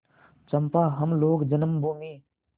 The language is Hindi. चंपा हम लोग जन्मभूमि